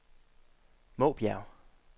Måbjerg